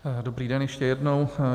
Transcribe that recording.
Dobrý den ještě jednou.